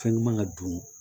Fɛn ɲuman ka don